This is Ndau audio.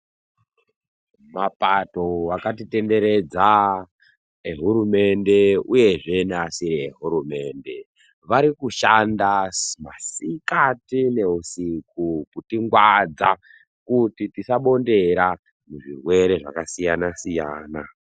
Mapato akatitenderedza rehurumende uye neasiri ehurumende varikushanda masikati neusiku kutingwadza kuti tisabondera zvirwere zvakasiyana siyana